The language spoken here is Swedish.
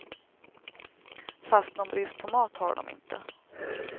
Fast någon brist på mat har de inte.